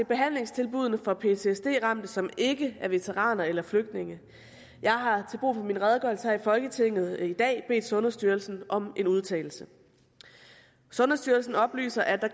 behandlingstilbuddene for ptsd ramte som ikke er veteraner eller flygtninge jeg har til brug for min redegørelse her i folketinget i dag bedt sundhedsstyrelsen om en udtalelse sundhedsstyrelsen oplyser at der